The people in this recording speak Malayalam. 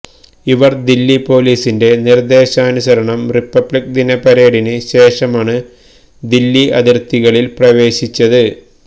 ഇവര് ദില്ലി പൊലീസിന്റെ നിര്ദ്ദേശാനുസരണം റിപ്പബ്ലിക് ദിന പരേഡിന് ശേഷമാണ് ദില്ലി അതിര്ത്തികളില് പ്രവേശിച്ചത്